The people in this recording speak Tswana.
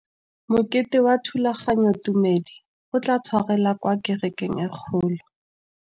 Mokete wa thulaganyôtumêdi o tla tshwarelwa kwa kerekeng e kgolo.